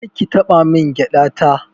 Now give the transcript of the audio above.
Kar ki taɓa min gyaɗa ta.